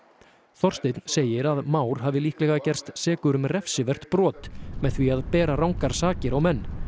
Þorsteinn segir að Már hafi líklega gerst sekur um refsivert brot með því að bera rangar sakir á menn